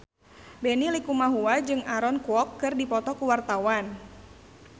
Benny Likumahua jeung Aaron Kwok keur dipoto ku wartawan